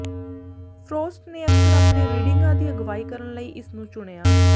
frost ਨੇ ਅਕਸਰ ਆਪਣੇ ਰੀਡਿੰਗਾਂ ਦੀ ਅਗਵਾਈ ਕਰਨ ਲਈ ਇਸ ਨੂੰ ਚੁਣਿਆ